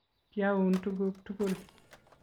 kiaun tuguk tugul